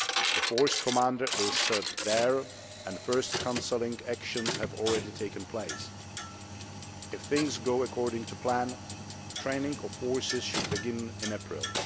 The Force Commander is there and the first counselling actions have already taken place. If things go according to plan, training of forces should begin in April.